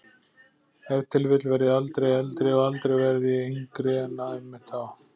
Ef til vill verð ég aldrei eldri og aldrei varð ég yngri en einmitt þá.